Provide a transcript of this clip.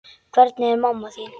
Hvernig er mamma þín?